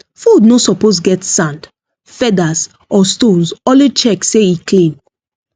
food no suppose get sand feathers or stones always check say e clean